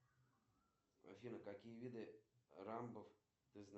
джой скажи какая погода будет завтра в городе москва